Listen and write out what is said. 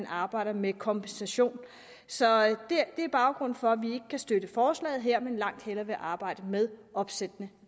arbejde med kompensation så det er baggrunden for at vi kan støtte forslaget her men langt hellere vil arbejde med opsættende